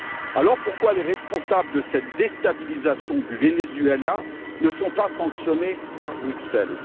Alors pourquoi les responsables de cette déstabilisation du Venezuela ne sont ils pas sanctionnés par Bruxelles?